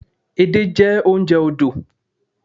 Edé jẹ́ oúnjẹ odò